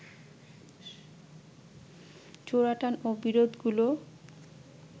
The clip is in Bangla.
চোরাটান ও বিরোধগুলো